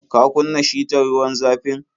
Ka kunna shitar ruwan zafin?